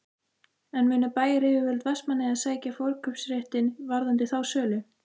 En munu bæjaryfirvöld Vestmannaeyja sækja forkaupsréttinn varðandi þá sölu?